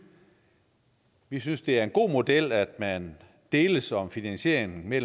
vi synes det er en god model at man deles om finansieringen med